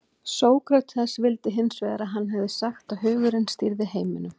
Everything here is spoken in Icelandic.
Sókrates vildi hins vegar að hann hefði sagt að hugurinn stýrði heiminum.